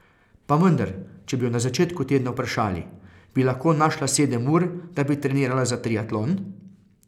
Pa vendar, če bi jo na začetku tedna vprašali: 'Bi lahko našla sedem ur, da bi trenirala za triatlon?